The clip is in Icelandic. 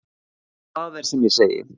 Það er sem ég segi.